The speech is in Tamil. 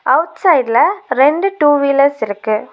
அவுட் சைடுல ரெண்டு டூ வீலர்ஸ் இருக்கு.